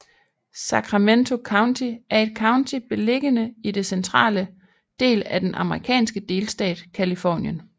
Sacramento County er et county beliggende i den centrale del af den amerikanske delstat Californien